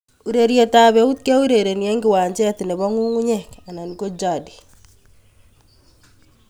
Urerietab eut keurereni eng kiwanjet nebo ngungunyek anan ko jadi